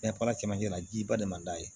Ɲɛfɛla cɛmancɛ la jiba de man d'a ye